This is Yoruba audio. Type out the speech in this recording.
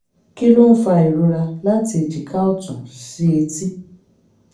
kí ló ń fa ìrora láti èjìká ọ̀tún sí etí?